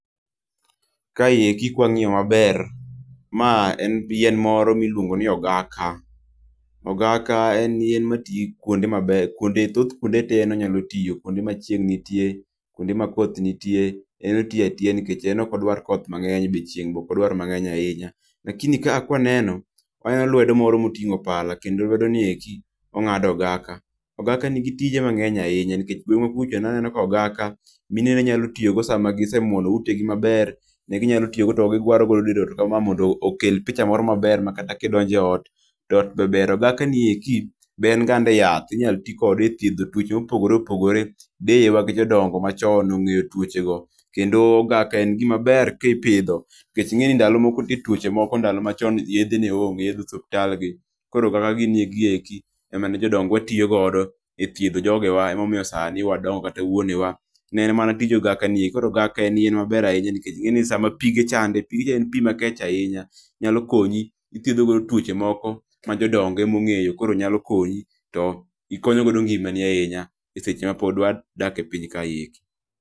Ka eki ka wang'iyo ma ber ma en yien moro mi iluongo ni ogaka. Ogaka en yien ma ti kuonde ma beyo thoth kuonde te en onyalo tiye kuonde ma chieng nitie, kuonde ma koth nitie en otiye atiya nikech en ok odwar koth mang'eny dichiel, be ok odwar mangeny ahinya lakini ka waneno waneno lwedo oro ma otingo palam kendpo lwedo ni eki ongado ogaka .Ogaka ni gi tije mang'eny ahinya nikech gwengwa kucho ne aneno ka ogaka mine ne nya tiyo go sa ma gi se muono ute gi ma ber ne gi nyalo toyo go to gi gwaro go dier ot ka ma mondo okel picha moro ma ber ma kata ki idonjo e ot ,to ot be ber. Ogaka ni eki be en gande yath inyalo ti kode e tthiedho twoche ma opogore opogore .Deyewa gi jodongo ma chon ong'eyo twoche go kendo ogaka en gi ma ber ki ipidho nikech inge ni ndalo moko nitie twoche moko ndalo ma chon yedhe ne onge yedhe e osiptal gi koro ogaka giki eki ema ne jodongo tiyo godo e thiedho jogewa ema omiyo sani wadongo kata wuonewa ni en mana tij ogaka ni eri koro ogaka ni en yien ma ber ahinya nikech ing'e ni sa pige chande, pig ni en pi makech ainya nyalo konyi ti ithiedho godo twoche moko ma jodongo ema ong'eyo koro nyalo konyi ti ikonyo go ngima ni ahinya e seche ma pod wadak e piny kae eki.